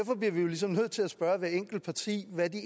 sådan